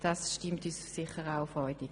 Das stimmt uns sicher auch freudig.